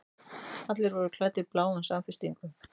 Allir voru klæddir bláum samfestingum.